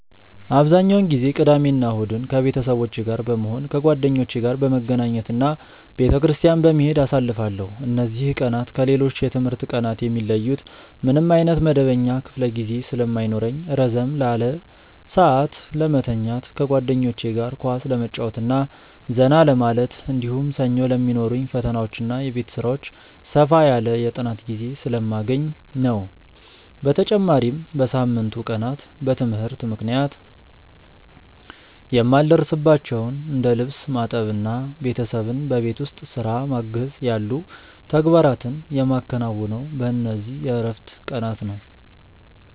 አብዛኛውን ጊዜ ቅዳሜና እሁድን ከቤተሰቦቼ ጋር በመሆን፣ ከጓደኞቼ ጋር በመገናኘት እና ቤተክርስቲያን በመሄድ አሳልፋለሁ። እነዚህ ቀናት ከሌሎች የትምህርት ቀናት የሚለዩት ምንም ዓይነት መደበኛ ክፍለ ጊዜ ስለማይኖርኝ ረዘም ላለ ሰዓት ለመተኛት፣ ከጓደኞቼ ጋር ኳስ ለመጫወትና ዘና ለማለት፣ እንዲሁም ሰኞ ለሚኖሩኝ ፈተናዎችና የቤት ሥራዎች ሰፋ ያለ የጥናት ጊዜ ስለማገኝ ነው። በተጨማሪም በሳምንቱ ቀናት በትምህርት ምክንያት የማልደርስባቸውን እንደ ልብስ ማጠብና ቤተሰብን በቤት ውስጥ ሥራ ማገዝ ያሉ ተግባራትን የማከናውነው በእነዚህ የዕረፍት ቀናት ነው።